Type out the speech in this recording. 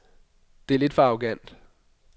Det er lidt for arrogant.